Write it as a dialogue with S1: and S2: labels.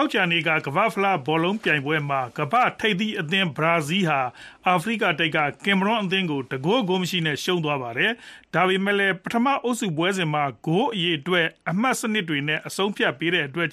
S1: ောကြာနေ့က ကမ္ဘာ့ဖလား ဘောလုံးပြိုင်ပွဲ မှာ ကမ္ဘာ့ထိပ်သီးအသင်း Brazil ဟာ အာဖရိကတိုက်က Cameroon အသင်းကို ၁ ဂိုး ဂိုးမရှိနဲ့ ရှုံးသွားပါတယ်။ ဒါပေမဲ့လည်း ပထမ အုပ်စုပွဲစဉ်မှာ ဂိုးအရေအတွက် အမှတ်စနစ်တွေ နဲ့ အဆုံးအဖြစ်ပေးတဲ့အတွက်